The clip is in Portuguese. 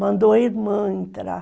Mandou a irmã entrar.